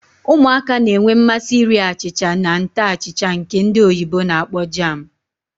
Ụmụaka na-enwe mmasị ịrị achịcha na nte achịcha nke ndi oyibo na-akpọ jam.